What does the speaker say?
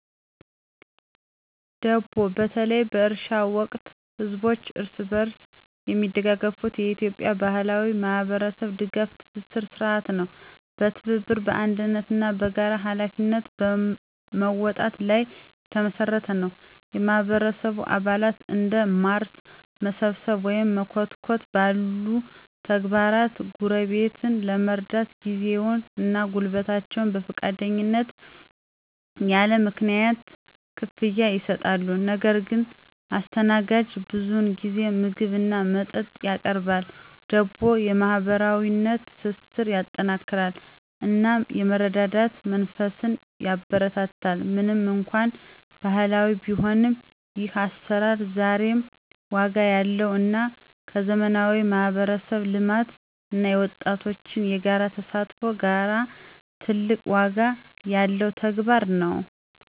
ደቦ በተለይ በእርሻ ወቅት ህዝቦች እርስ በርስ የሚደጋገፉበት የኢትዮጵያ ባህላዊ የማህበረሰብ ድጋፍ ትስስር ሥርዓት ነው። በትብብር፣ በአንድነት እና በጋራ ኃላፊነት መወጣት ላይ የተመሰረተ ነው። የማህበረሰቡ አባላት እንደ ማረስ፣ መሰብሰብ ወይም መኮትኮት ባሉ ተግባራት ጎረቤትን ለመርዳት ጊዜያቸውን እና ጉልበታቸውን በፈቃደኝነት ያለ ምንም ክፍያ ይሰጣሉ። ነገር ግን አስተናጋጁ ብዙውን ጊዜ ምግብ እና መጠጥ ያቀርባል። ደቦ የማህበራዊ ትስስርን ያጠናክራል እናም የመረዳዳት መንፈስን ያበረታታል። ምንም እንኳን ባህላዊ ቢሆንም፣ ይህ አሰራር ዛሬም ዋጋ ያለው እና ከዘመናዊ የማህበረሰብ ልማት እና የወጣቶች የጋራ ተሳትፎ ጋራ ትልቅ ዋጋ ያለው ተግባር ነው።